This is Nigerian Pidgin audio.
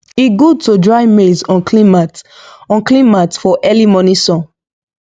e good to dry maize on clean mat on clean mat for early morning sun